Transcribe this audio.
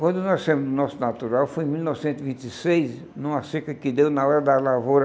Quando nós nascemos no nosso natural, foi em mil novecentos e vinte e seis, numa seca que deu na hora da lavoura,